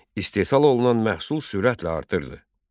İstehsal olunan məhsul sürətlə artırdı.